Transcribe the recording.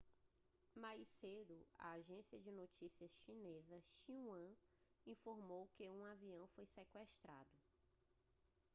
mais cedo a agência de notícias chinesa xinhua informou que um avião foi sequestrado